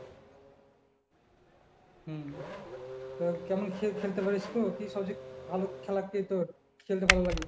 হম তো কেমন খেল খেলতে পারিস তো? কি সবচেয়ে ভালো খেলা খেলতে খেলতে ভালো লাগে?